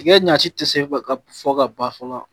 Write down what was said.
Tiga ɲaci tɛ se fɛ ka fɔ ka ban fɔ la